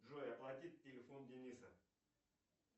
джой оплатить телефон дениса